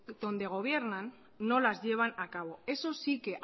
donde gobiernan no las llevan a cabo eso sí que